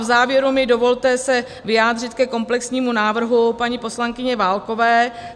V závěru mi dovolte se vyjádřit ke komplexnímu návrhu paní poslankyně Válkové.